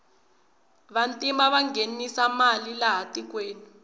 vantima vanghenisa mali laha tikweni